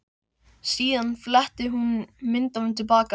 Síðan fletti hún myndunum til baka.